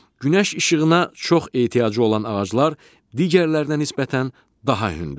Günəş işığına çox ehtiyacı olan ağaclar digərlərinə nisbətən daha hündürdür.